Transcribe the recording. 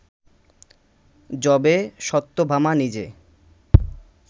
যবে সত্যভামা নিজে